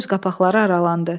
Göz qapaqları aralandı.